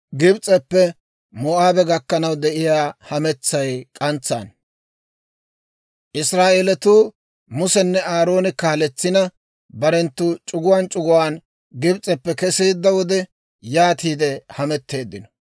Israa'eelatuu Musenne Aarooni kaaletsina, barenttu c'uguwaan c'uguwaan Gibs'eppe keseedda wode, yaatiide hametteeddino.